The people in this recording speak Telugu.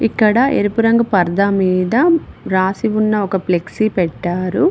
ఇక్కడ ఎరుపు రంగు పరదా మీద రాసి ఉన్న ఒక ఫ్లెక్సీ పెట్టారు.